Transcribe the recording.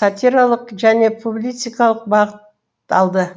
сатиралық және публицистикалық бағыт алды